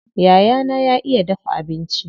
Yayana ya iya dafa abinci.